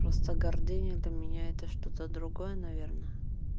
просто гордыня для меня это что-то другое наверное